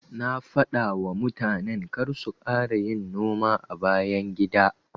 Na dafawa mutanen karsu kara yin noma a bayan gida.